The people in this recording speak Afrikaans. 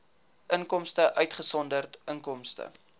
inkomste uitgesonderd inkomste